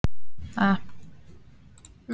kæri, kæra, kæru